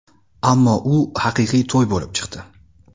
Ammo u haqiqiy to‘y bo‘lib chiqdi.